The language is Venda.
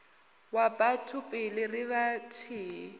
wa batho pele ri vhathihi